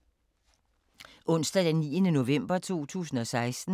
Onsdag d. 9. november 2016